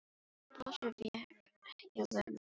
Brosið vék ekki af vörum Sveins.